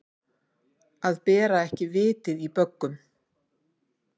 Að bera ekki vitið í böggum